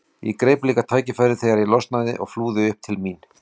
Ég greip líka tækifærið þegar ég losnaði og flúði upp til mín.